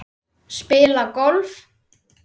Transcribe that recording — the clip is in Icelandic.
Spila golf?